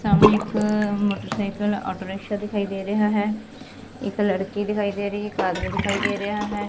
ਸਾਹਮਨੇ ਇੱਕ motorcycle auto rickshaw ਦਿਖਾਈ ਦੇ ਰਿਹਾ ਹੈ ਇੱਕ ਲੜਕੀ ਦਿਖਾਈ ਦੇ ਰਹੀ ਇੱਕ ਆਦਮੀ ਦਿਖਾਈ ਦੇ ਰਿਹਾ ਹੈ।